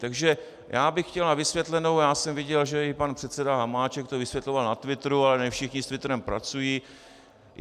Takže já bych chtěl na vysvětlenou - já jsem viděl, že i pan předseda Hamáček to vysvětloval na twitteru, ale ne všichni s twitterem pracují.